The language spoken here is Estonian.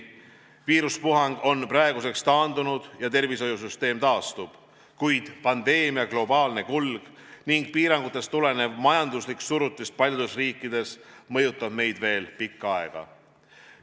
Viiruspuhang on praeguseks taandunud ja tervishoiusüsteem taastub, kuid pandeemia globaalne kulg ning piirangutest tulenev majanduslik surutis paljudes riikides mõjutab meid veel pikka aega.